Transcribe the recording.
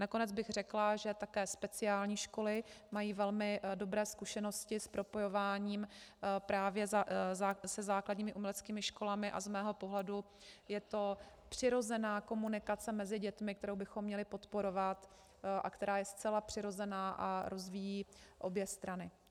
Nakonec bych řekla, že také speciální školy mají velmi dobré zkušenosti s propojováním právě se základními uměleckými školami, a z mého pohledu je to přirozená komunikace mezi dětmi, kterou bychom měli podporovat a která je zcela přirozená a rozvíjí obě strany.